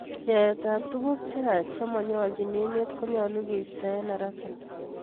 Aet ab tukuk cheyach chemanyoljin emet konyolu keisto eng haraka